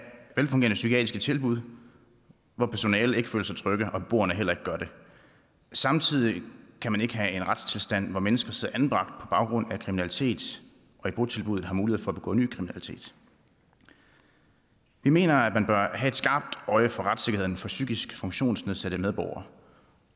velfungerende psykiatriske tilbud hvor personalet ikke føler sig trygge og hvor beboerne heller ikke gør det samtidig kan man ikke have en retstilstand hvor mennesker sidder anbragt på baggrund af kriminalitet og i botilbuddet har mulighed for at begå ny kriminalitet vi mener man bør have et skarpt øje for retssikkerheden for psykisk funktionsnedsættelse